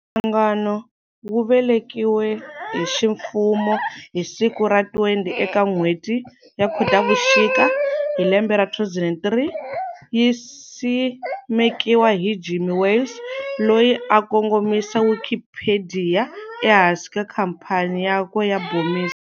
Nhlangano wu velekiwe hiximfumo hi siku ra 20 eka nhweti ya Khotavuxika, hilembe ra 2003, yisimekiwa hi Jimmy Wales, loyi a a kongomisa Wikipediya ehansi ka khampani yakwe ya Bomis.